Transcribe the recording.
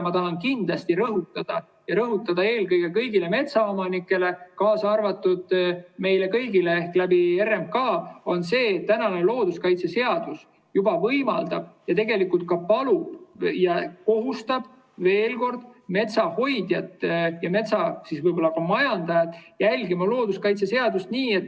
Ma tahan kindlasti rõhutada, eelkõige kõigile metsaomanikele, kaasa arvatud meile kõigile RMK kaudu, seda, et looduskaitseseadus juba võimaldab ja palub ja tegelikult ka kohustab veel kord metsa hoidjat ja metsa võib-olla majandajat järgima looduskaitseseadust.